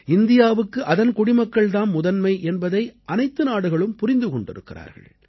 இந்தியாவுக்கு அதன் குடிமக்கள் தாம் முதன்மை என்பதை அனைத்து நாடுகளும் புரிந்து கொண்டிருக்கிறார்கள்